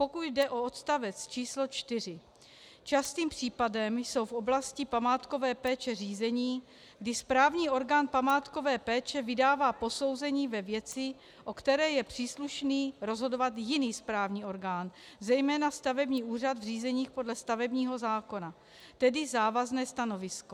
Pokud jde o odstavec číslo 4, častým případem jsou v oblasti památkové péče řízení, kdy správní orgán památkové péče vydává posouzení ve věci, o které je příslušný rozhodovat jiný správní orgán, zejména stavební úřad v řízeních podle stavebního zákona, tedy závazné stanovisko.